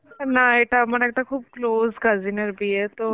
না এটা আমার একটা খুব close cousin এর বিয়ে তো